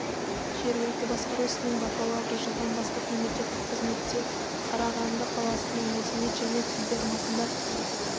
жергілікті басқару ісінің бакалавры жылдан бастап мемлекеттік қызметте қарағанды қаласының мәдениет және тілдерді дамыту басқармасында